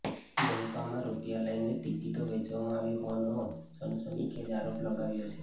મનપામાં રૂપિયા લઇને જ ટિકિટો વેચવામાં આવી હોવાનો સનસનીખેજ આરોપ લગાવ્યો છે